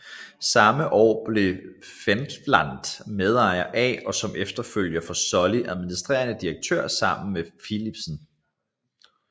Samme år blev Wendlandt medejer af og som efterfølger for Sulley administrerende direktør sammen med Philipsen